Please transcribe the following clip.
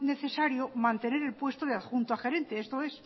necesario mantener el puesto de adjunto a gerente esto es